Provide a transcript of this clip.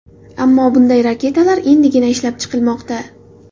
Ammo bunday raketalar endigina ishlab chiqilmoqda.